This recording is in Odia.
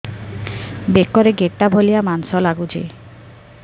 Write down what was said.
ବେକରେ ଗେଟା ଭଳିଆ ମାଂସ ଲାଗୁଚି